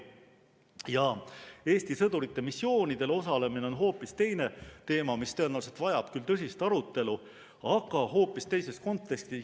Ja Eesti sõdurite missioonidel osalemine on hoopis teine teema, mis tõenäoliselt vajab küll tõsist arutelu, aga hoopis teises kontekstis.